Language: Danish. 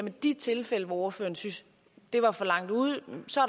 i de tilfælde hvor ordføreren synes det er for langt ude